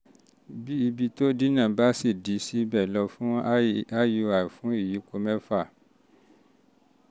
bí ibi tó dí náà dí náà bá ṣì dí síbẹ̀ lọ fún iui fún ìyípo mẹ́fà